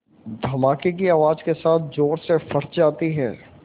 धमाके की आवाज़ के साथ ज़ोर से फट जाती है